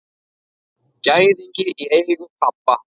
Gæðingi í eigu pabba.